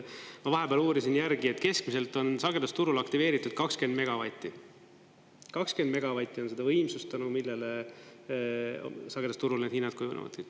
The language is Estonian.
Ma vahepeal uurisin järgi, et keskmiselt on sagedusturul aktiveeritud 20 megavatti, 20 megavatti on seda võimsust, tänu millele sagedusturul need hinnad kujunevad.